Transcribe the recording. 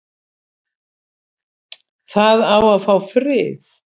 Það á að fá frið